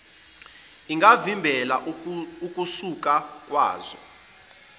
ingavimbela ukusaka zwa